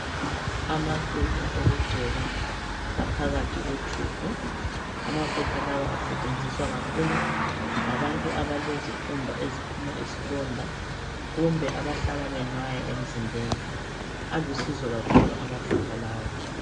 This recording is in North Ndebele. Amafutha okugcoba aphakathi kwetube. Amafutha lawa asetshenziswa kakhulu ngabantu abalezikhumba eziphuma izilonda. Kumbe abahlala benwaya emzimbeni. Alusizo kakhulu amafutha lawa.